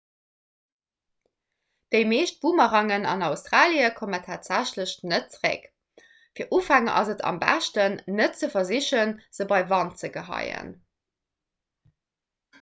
déi meescht boomerangen an australie kommen tatsächlech net zeréck fir ufänger ass et am beschten net ze versichen se bei wand ze geheien